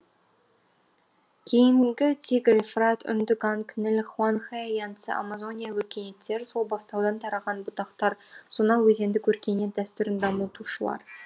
кейінгі тигр ефрат үнді ганг ніл хуанхэ янцзы амазония өркениеттері сол бастаудан тараған бұтақтар сонау өзендік өркениет дәстүрін дамытушылар